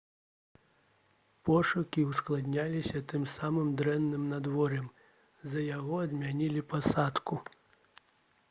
пошукі ўскладняліся тым самым дрэнным надвор'ем з-за якога адмянілі пасадку